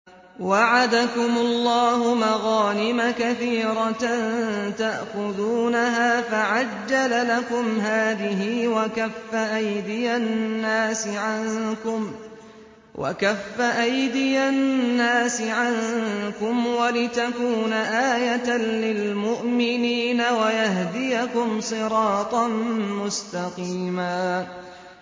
وَعَدَكُمُ اللَّهُ مَغَانِمَ كَثِيرَةً تَأْخُذُونَهَا فَعَجَّلَ لَكُمْ هَٰذِهِ وَكَفَّ أَيْدِيَ النَّاسِ عَنكُمْ وَلِتَكُونَ آيَةً لِّلْمُؤْمِنِينَ وَيَهْدِيَكُمْ صِرَاطًا مُّسْتَقِيمًا